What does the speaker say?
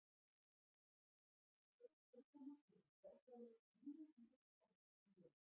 En ég fékk hana til að borga þér þrjú hundruð franka í laun.